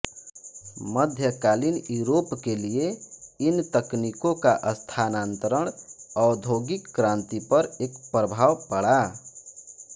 मध्यकालीन यूरोप के लिए इन तकनीकों का स्थानान्तरण औद्योगिक क्रान्ति पर एक प्रभाव पड़ा